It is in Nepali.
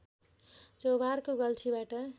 चोभारको गल्छीबाट